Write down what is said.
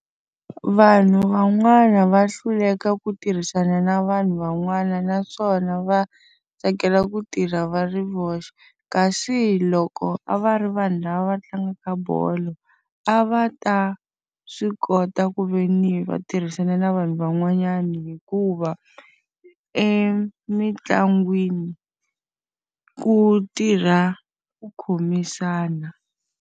Vanhu van'wana va hluleka ku tirhisana na vanhu van'wana naswona va tsakela ku tirha va ri voxe. Kasi loko a va ri vanhu lava va tlangaka bolo, a va ta swi kota ku ve ni va tirhisana na vanhu van'wanyana hikuva emitlangwini ku tirha ku khomisana.